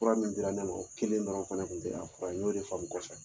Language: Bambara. Fura min dira ne ma o kelen dɔrɔn fana tun tɛ a fɔra ye n y'o de faamu kɔfɛ